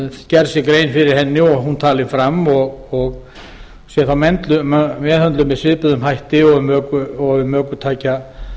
gerð sé grein fyrir henni og hún talin fram og þá meðhöndluð með svipuðum hætti og um ökutækjastyrk væri að